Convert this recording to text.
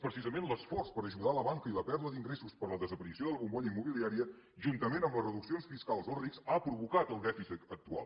precisament l’esforç per ajudar la banca i la pèrdua d’ingressos per la desaparició de la bombolla immobiliària juntament amb les reduccions fiscals als rics ha provocat el dèficit actual